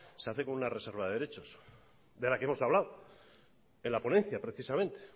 se hace como una reserva de derechos de la que hemos hablado en la ponencia precisamente